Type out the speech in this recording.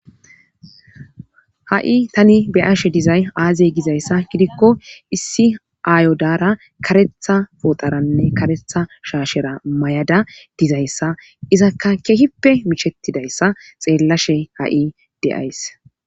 Ha7i tani beyashe dizay aazey gizayssa gidikko issi aayodara karetha pooxaranne karetha shaashera may7ada dizayssa izakka kehippe michettidayssa xeellashe ha7i de'ays.